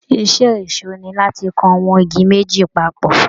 Iṣẹ́ ẹ̀ṣó ni láti kan àwọn igi méjì papọ̀